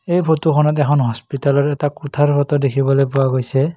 এই ফটোখনত এখন হস্পিটেলৰ এটা কোঠাৰ ফটো দেখিবলৈ পোৱা গৈছে।